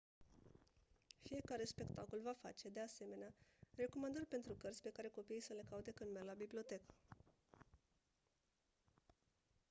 fiecare spectacol va face de asemenea recomandări pentru cărți pe care copiii să le caute când merg la bibliotecă